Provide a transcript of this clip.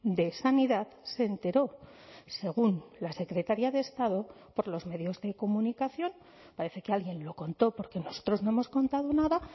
de sanidad se enteró según la secretaría de estado por los medios de comunicación parece que alguien lo contó porque nosotros no hemos contado nada